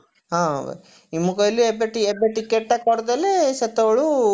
ହଁ ମୁଁ କହିଲି ଏବେ ଏବେ ticket ଟା କରିଦେଲେ ସେତେବେଳୁ